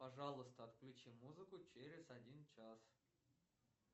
пожалуйста отключи музыку через один час